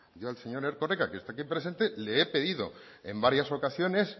yo al señor erkoreka que está aquí presente le he pedido en varias ocasiones